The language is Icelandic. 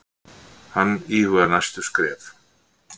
Hann íhugar næstu skref.